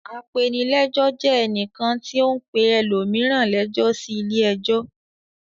Apenilẹ́jọ́ jẹ ẹnìkan tí ó ń pe ẹlòmíràn lẹ́jọ́ sí ilé-ẹjọ́.